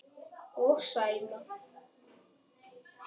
Og Sæma.